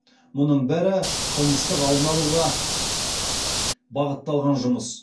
мұның бәрі қылмыстық алдын алуға бағытталған жұмыс